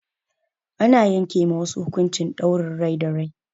Ana yanke ma wasu hukuncin ɗaurin rai da rai.